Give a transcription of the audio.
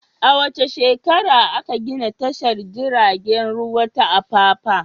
A wace shekara aka gina tashar jiragen ruwa ta Apapa?